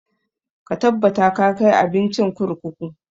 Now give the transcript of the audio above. Ka tabbata ka kai abincin kurkuku!